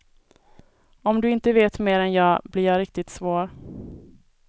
Om du inte vet mer än jag, blir jag riktigt svår.